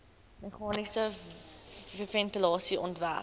meganiese ventilasie ontwerp